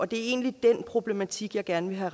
det er egentlig den problematik jeg gerne vil have